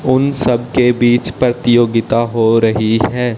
उन सब के बीच प्रतियोगिता हो रही है।